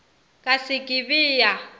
ka se ke be ya